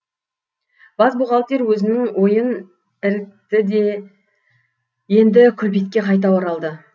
бас бухгалтер өзінің ойын ірікті де енді күлбетке қайта оралды